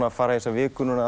að fara í þessa viku